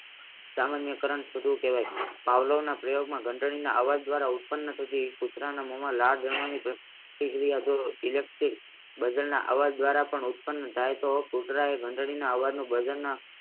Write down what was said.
સામાન્ય કલારણ કહેવાય છે સામાન્ય પ્રયોગના ઘંટડીના અવાજ દ્વારા ઉત્પન્ન થતી કુતરાના મોમાં લાળજમવાની પ્રક્રિયા જો ઇલેકટ્રીક ઉત્પન્ન થાય તો કુતરા એ ઘંટડીના